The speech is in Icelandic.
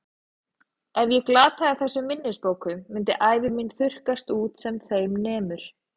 Ef ég glataði þessum minnisbókum myndi ævi mín þurrkast út sem þeim nemur.